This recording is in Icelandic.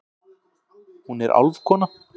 Hún er álfkona.